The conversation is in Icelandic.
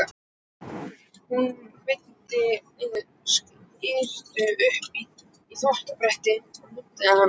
Hún veiddi skyrtu upp á þvottabrettið og nuddaði hana.